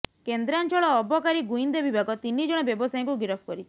କେନ୍ଦ୍ରାଞ୍ଚଳ ଅବକାରୀ ଗୁଇନ୍ଦା ବିଭାଗ ତିନି ଜଣ ବ୍ୟବସାୟୀଙ୍କୁ ଗିରଫ କରିଛି